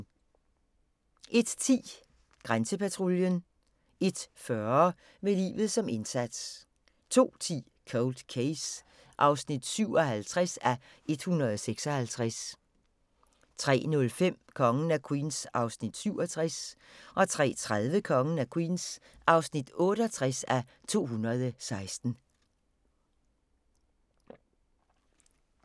01:10: Grænsepatruljen 01:40: Med livet som indsats 02:10: Cold Case (57:156) 03:05: Kongen af Queens (67:216) 03:30: Kongen af Queens (68:216)